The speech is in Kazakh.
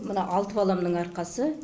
мына алты баламның арқасы